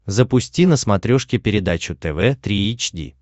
запусти на смотрешке передачу тв три эйч ди